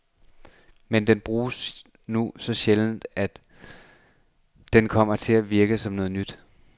Men den bruges nu så sjældent, at den kom til at virke som noget nyt.